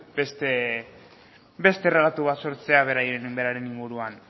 beste errelato bat sortzea beraren inguruan